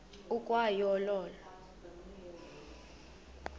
ukwa yo olo